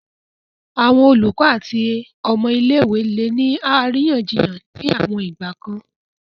Awọn olukọ ati awọn ọmọ ile-iwe le ni ariyanjiyan ni awon igbakan